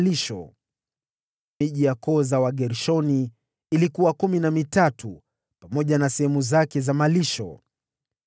Miji yote ya koo za Wagershoni ilikuwa kumi na mitatu, pamoja na sehemu zake za malisho.